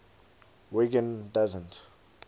wiggin doesn t